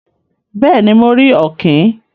Béèni, mo rí òkìn